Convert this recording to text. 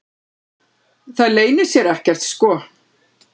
Það leynir sér ekkert sko.